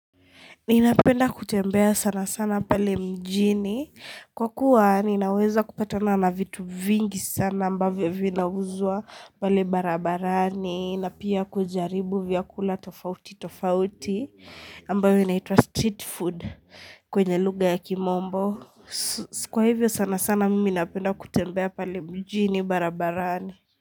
Ninapenda kutembea sana sana pale mjini kwa kuwa ninaweza kupatana na vitu vingi sana ambavyo vinauzwa pale barabarani, na pia kujaribu vyakula tofauti tofauti ambayo inaitwa street food kwenye luga ya kimombo Kwa hivyo sana sana mimi napenda kutembea pale mjini barabarani.